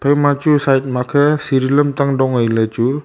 ima chu side makhe siri lamtang dong ai le chu.